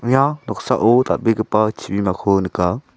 ia noksao dal·begipa chibimako nika.